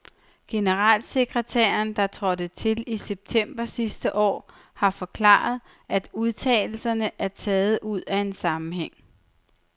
Generalsekretæren, der trådte til i september sidste år, har forklaret, at udtalelserne er taget ud af en sammenhæng.